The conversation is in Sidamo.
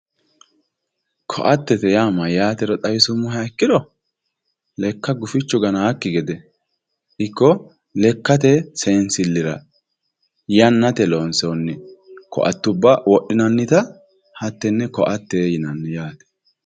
ko"attete yaa mayyaatero xawisummoheha ikkiro lekka guwifchu ganaakki gede ikko lekkate seensillira yannate loonsoonni ko"attubba wodhinanita hattenne ko"atte yinanni